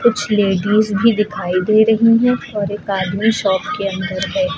कुछ लेडिज भी दिखाई दे रही हैं और एक आदमी शॉप के अंदर है।